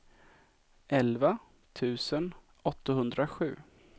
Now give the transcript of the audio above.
elva tusen åttahundrasju